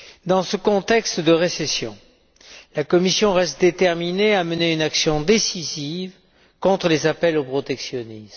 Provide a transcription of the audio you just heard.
Dans ce contexte de récession, la Commission reste déterminée à mener une action décisive contre les appels au protectionnisme.